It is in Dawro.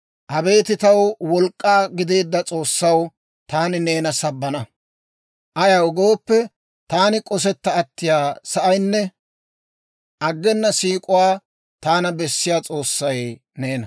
Abeet taw wolk'k'aa gideedda S'oossaw, taani neena sabbana. Ayaw gooppe, taani k'osetta attiyaa sa'aynne aggena siik'uwaa taana bessiyaa S'oossay neena.